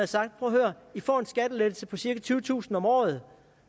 sagt prøv at høre i får en skattelettelse på cirka tyvetusind om året